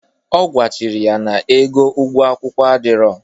Ọ gwachiri ya na ego ụgwo akwụkwọ adịrọ.